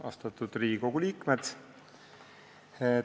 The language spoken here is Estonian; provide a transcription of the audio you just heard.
Austatud Riigikogu liikmed!